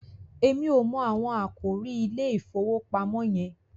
èmi ọ mọ awọ àkòrí ìIlé ìfowópamọ́ yen.